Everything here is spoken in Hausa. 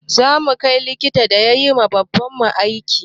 Zamu kai likitan da yayiwa baban mu aiki